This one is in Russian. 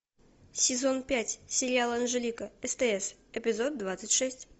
сезон пять сериал анжелика стс эпизод двадцать шесть